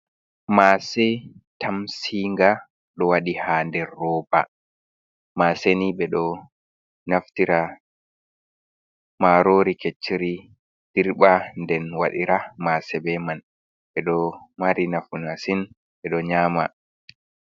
Mase tamsinga ɗ wadi ha der roba. Mase ni ɓe ɗo naftira marori kecciri dirɓa nden waɗira Mase be man ɓe ɗo mari nafu masin ɓe ɗo nyama.